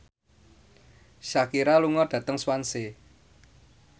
Shakira lunga dhateng Swansea